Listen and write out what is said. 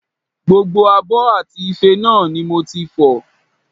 Gbogbo abọ́ àti ife náà ni mo ti fọ̀